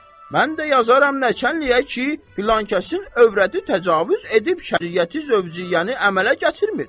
mən də yazaram nəçənliyə ki, filankəsin övrəti təcavüz edib şəriəti-zövciyyəni əmələ gətirmir.